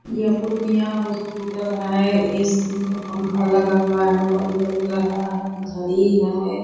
ये पूर्णिया हॉस्पिटल है इस में पंखा लगा हुआ है बल्ब जल रहा है घड़ी है। .